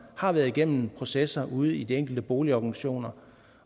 har været igennem processer ude i de enkelte boligorganisationer